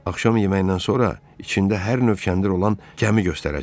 Axşam yeməyindən sonra içində hər növ kəndir olan gəmi göstərəcəm.